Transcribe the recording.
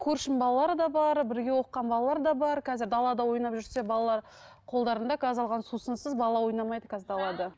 көршім балалары да бар бірге оқыған балалар да бар қазір далада ойнап жүрсе балалар қолдарында газдалған сусынсыз бала ойнамайды қазір далада